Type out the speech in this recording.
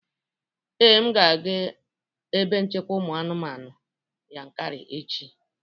Ee, m ga-aga ebe nchekwa ụmụ anụmanụ Yankari echi